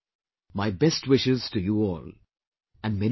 My best wishes to you all and many thanks